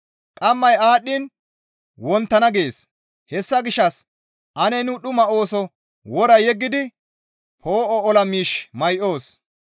Qammay aadhdhiin wonttana gees; hessa gishshas ane nu dhuma ooso wora yeggidi poo7o ola miish may7oos.